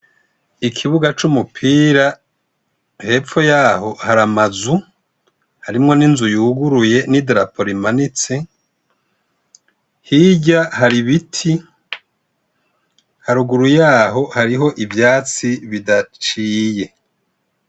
Ikibuga cumupira hepfo yaho hara amazuu harimwo n'inzu yiguruye n' idarapo rimanitse hirya hari ibiti haruguru yaho hariho ivyatsi bidaciye.